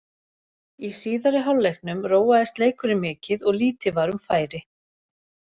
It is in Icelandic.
Í síðari hálfleiknum róaðist leikurinn mikið og lítið var um færi.